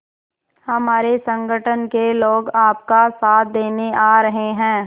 हमारे संगठन के लोग आपका साथ देने आ रहे हैं